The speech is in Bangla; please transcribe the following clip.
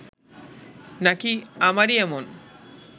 নাকি আমারই এমন